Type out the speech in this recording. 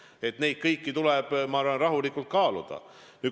Kõiki neid asju tuleb, ma arvan, rahulikult kaaluda.